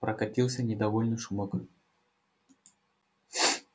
прокатился недовольный шумок